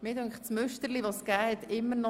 Abstimmung (Art. 14 Abs. 6(neu);